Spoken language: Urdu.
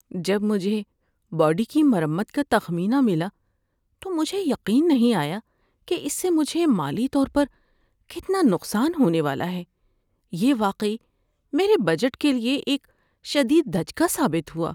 جب مجھے باڈی کی مرمت کا تخمینہ ملا تو مجھے یقین نہیں آیا کہ اس سے مجھے مالی طور پر کتنا نقصان ہونے والا ہے۔ یہ واقعی میرے بجٹ کے لیے ایک شدید دھچکا ثابت ہوا۔